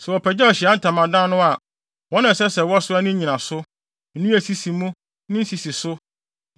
Sɛ wɔpagyaw Ahyiae Ntamadan no a, wɔn na ɛsɛ sɛ wɔsoa ne nnyinaso, nnua a esisi mu, ne nsisiso,